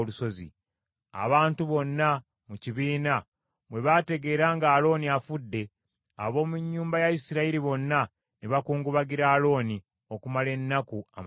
Abantu bonna mu kibiina bwe bategeera nga Alooni afudde, ab’omu nnyumba ya Isirayiri bonna ne bakungubagira Alooni okumala ennaku amakumi asatu.